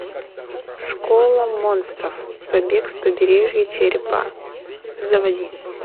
школа монстров побег с побережья черепа заводи